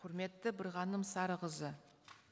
құрметті бірғаным сарықызы